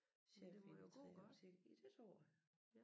Chef i de 3 butikker ja det tror jeg